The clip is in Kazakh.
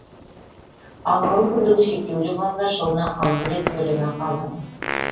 ал мүмкіндігі шектеулі балалар жылына алты рет төлемақы алады